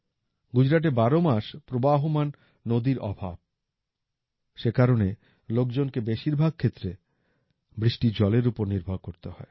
গুজরাটে বারো মাস প্রবাহমান নদীর অভাব সে কারণে লোকজনকে বেশিরভাগ ক্ষেত্রে বৃষ্টির জলের ওপর নির্ভর করতে হয়